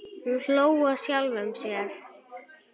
Hann hló að sjálfum sér.